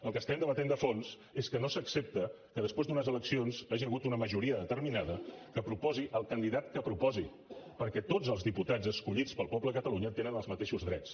el que estem debaten de fons és que no s’accepta que després d’unes eleccions hi hagi hagut una majoria determinada que proposi el candidat que proposi perquè tots els diputats escollits pel poble de catalunya tenen els mateixos drets